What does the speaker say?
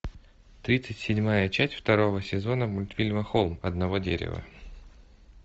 тридцать седьмая часть второго сезона мультфильма холм одного дерева